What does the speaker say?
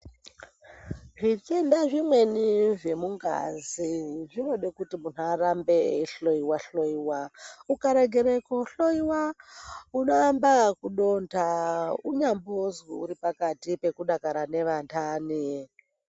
Zvi tenda zvimweni zve mungazi zvinode kuti muntu arambe eyi hloyiwa hloyiwa uka regera ku hloyiwa uno amba yeku donda unyambozwi uri pakati peku dakara ne vandani.